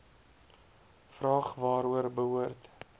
vraag waaroor behoort